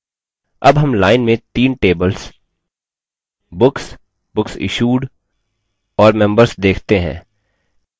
अब हम line में तीन tables books books issued और members देखते हैं